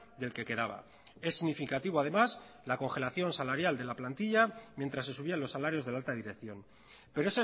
del que quedaba es significativo además la congelación salarial de la plantilla mientras se subían los salarios de la alta dirección pero